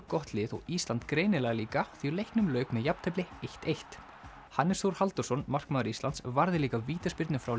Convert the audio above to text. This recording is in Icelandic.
gott lið og Ísland greinilega líka því leiknum lauk með jafntefli eitt eitt Hannes Þór Halldórsson markmaður Íslands varði líka vítaspyrnu frá